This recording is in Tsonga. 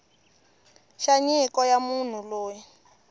xa nyiko ya munhu loyi